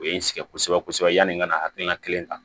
O ye n sɛgɛn kosɛbɛ kosɛbɛ yani n ka hakilina kelen ta